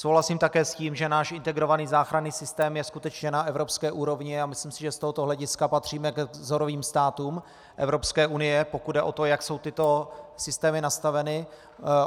Souhlasím také s tím, že náš integrovaný záchranný systém je skutečně na evropské úrovni, a myslím si, že z tohoto hlediska patříme k vzorovým státům Evropské unie, pokud jde o to, jak jsou tyto systémy nastaveny.